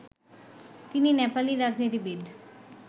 তিনি নেপালি রাজনীতিবিদ